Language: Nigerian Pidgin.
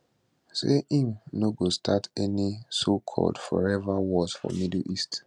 say im no go start any socalled forever wars for middle east